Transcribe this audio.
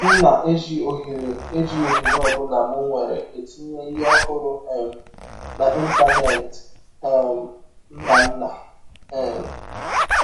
M na - eji ọhere eji ọhere ọ bụla m nwere etinye ihe ọhụrụ um n’Ịntanet. ” um — Nnanna. um